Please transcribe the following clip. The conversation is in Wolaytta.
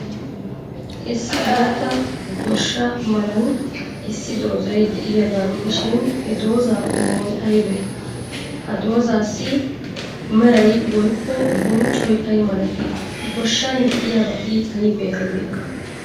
Issi guutta goshsha malan issi dozay de'iyaagaa gidishin, he dozaa qommoy aybee? Ha dozaassi meray woykko bonccoy ay malatii? Goshshan de'iyabati aybee aybee?